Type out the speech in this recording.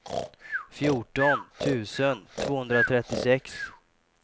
fjorton tusen tvåhundratrettiosex